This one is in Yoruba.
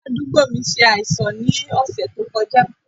Ará àdúgbò mi ṣe àìsàn ní ọ̀sẹ̀ tó kọjá